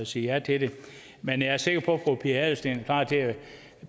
sige ja til det men jeg er sikker på at fru pia adelsteen er klar til at